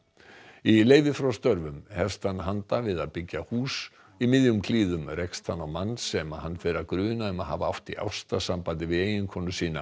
í leyfi frá störfum hefst hann handa við að byggja hús í miðjum klíðum rekst hann á mann sem hann fer að gruna um að hafa átt í ástarsambandi við eiginkonu sína